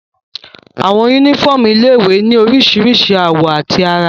Àwọn yúnífọ́ọ̀mù ilé-ìwé ní oríṣiríṣi àwọ̀ àti àrà